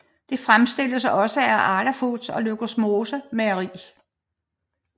Det fremstilles også af Arla Foods og Løgismose Mejeri